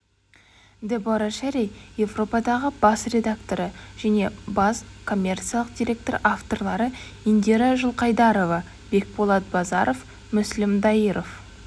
дебора шерри еуропадағы бас директоры және бас коммерциялық директор авторлары индира жылқайдарова бекболат базаров мүслім дайыров